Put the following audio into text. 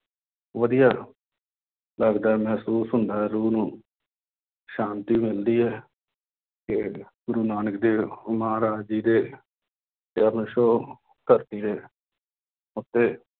ਵਧੀਆ ਲੱਗਦਾ ਹੈ ਮਹਿਸੂਸ ਹੁੰਦਾ ਹੈ ਰੂਹ ਨੂੰ ਸ਼ਾਂਤੀ ਮਿਲਦੀ ਹੈ ਕਿ ਗੁਰੂ ਨਾਨਕ ਦੇਵ ਮਹਾਰਾਜ ਜੀ ਦੇ ਚਰਨ ਛੂਹ ਧਰਤੀ ਦੇ ਉੱਤੇ